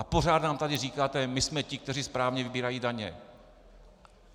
A pořád nám tady říkáte: my jsme ti, kteří správně vybírají daně.